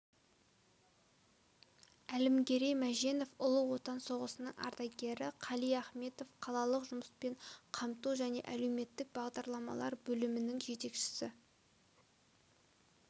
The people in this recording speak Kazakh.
әлімгерей мәженов ұлы отан соғысының ардагері қали ахметов қалалық жұмыспен қамту және әлеуметтік бағдарламалар бөлімінің жетекшісі